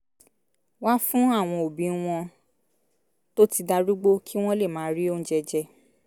wá fún àwọn òbí wọn tó ti darúgbó kí wọ́n lè máa rí oúnjẹ jẹ